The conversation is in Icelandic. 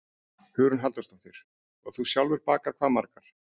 Hugrún Halldórsdóttir: Og þú sjálfur bakar hvað margar?